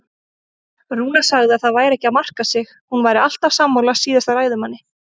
Rúna sagði að það væri ekki að marka sig, hún væri alltaf sammála síðasta ræðumanni.